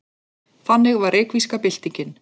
Þannig var reykvíska byltingin.